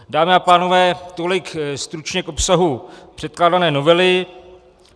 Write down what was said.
Dámy a pánové, tolik stručně k obsahu předkládané novely.